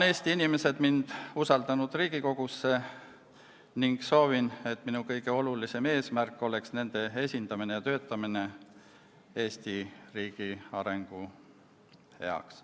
Eesti inimesed on mind usaldanud Riigikogu liige olema ning ma soovin, et minu kõige olulisem eesmärk oleks nende esindamine ja töötamine Eesti riigi arengu heaks.